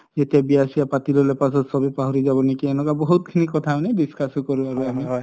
যেতিয়া বিয়া চিয়া পাতি ললো পিছত চবে পাহৰি যাব নেকি এনেকুৱ বহুত খিনি কথা আমি discuss কৰো আমি